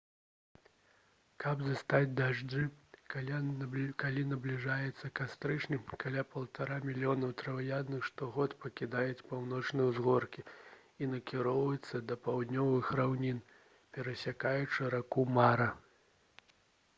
каб застаць дажджы калі набліжаецца кастрычнік каля 1,5 мільёнаў траваедных штогод пакідаюць паўночныя ўзгоркі і накіроўваюцца да паўднёвых раўнін перасякаючы раку мара